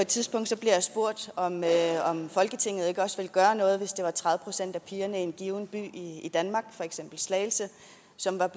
tidspunkt spurgt om folketinget ikke også ville gøre noget hvis det var tredive procent af pigerne i en given by i danmark for eksempel slagelse som